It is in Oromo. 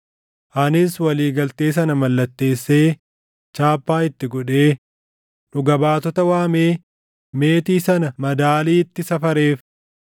Anis walii galtee sana mallatteessee, chaappaa itti godhee, dhuga baatota waamee meetii sana madaaliitti safareef.